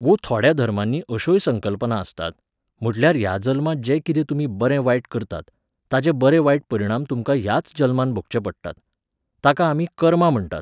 वो थोड्या धर्मांनी अश्योय संकल्पना आसतात, म्हडल्यार ह्या जल्मांत जें कितें तुमी बरें वायट करतात, ताचे बरे वायट परिणाम तुमकां ह्याच जल्मांत भोगचे पडटात. ताका आमी कर्मां म्हणटात.